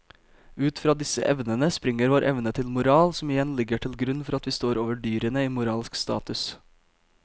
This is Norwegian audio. Ut fra disse evnene springer vår evne til moral som igjen ligger til grunn for at vi står over dyrene i moralsk status.